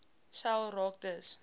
sel raak dus